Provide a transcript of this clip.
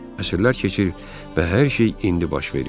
Əsirlər keçir və hər şey indi baş verir.